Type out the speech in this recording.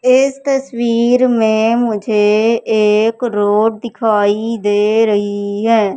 इस तस्वीर में मुझे एक रोड दिखाई दे रही है।